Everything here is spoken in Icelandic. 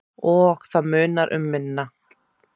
Og það munar um minna.